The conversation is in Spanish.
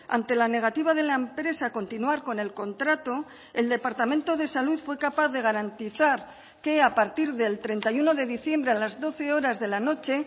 ante la negativa de la empresa a continuar con el contrato el departamento de salud fue capaz de garantizar que a partir del treinta y uno de diciembre a las doce horas de la noche